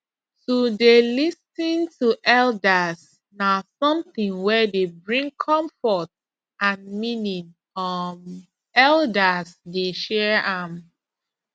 to dey lis ten to elders na something wey dey bring comfort and meaning um elders dey share am